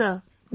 Yes Sir